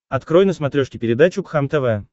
открой на смотрешке передачу кхлм тв